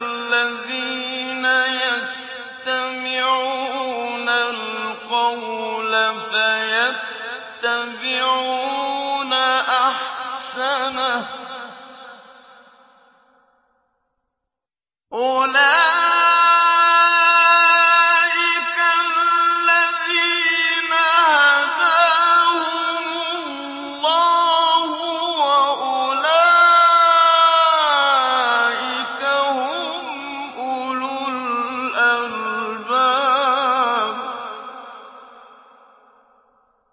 الَّذِينَ يَسْتَمِعُونَ الْقَوْلَ فَيَتَّبِعُونَ أَحْسَنَهُ ۚ أُولَٰئِكَ الَّذِينَ هَدَاهُمُ اللَّهُ ۖ وَأُولَٰئِكَ هُمْ أُولُو الْأَلْبَابِ